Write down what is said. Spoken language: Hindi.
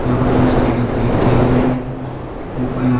पर बहोत सारे डब्बे रखे हुए हैं ऊपर यहां--